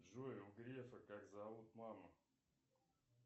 джой у грефа как зовут маму